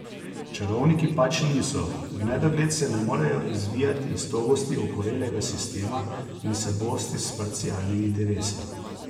Čarovniki pač niso, v nedogled se ne morejo izvijati iz togosti okorelega sistema in se bosti s parcialnimi interesi.